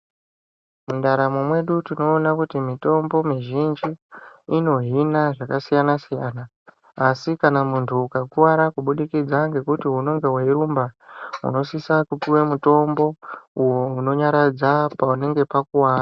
Mundaramo mwedu tinoona kuti mitombo mizhinji inohina zvakasiyana siyana asi kana muntu ukakuvara kubudikidza nekuti unonga weirumba unosisa mutombo uyo unonyaradza panenga pakuvara .